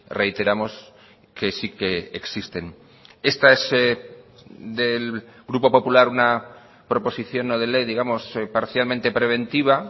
reiteramos que sí que existen esta es del grupo popular una proposición no de ley digamos parcialmente preventiva